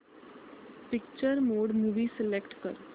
picture mode movie select कर